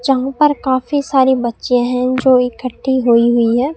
जहां पर काफी सारे बच्चे हैं जो इकट्ठी हुईं हुईं हैं।